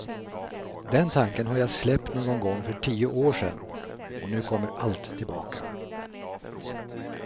Den tanken har jag släppt någon gång för tio år sedan, och nu kommer allt tillbaka.